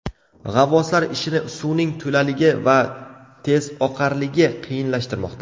G‘avvoslar ishini suvning to‘laligi va tezoqarligi qiyinlashtirmoqda.